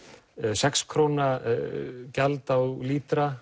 sex króna gjald á lítra